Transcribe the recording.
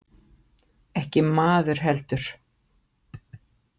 Ekki maður heldur.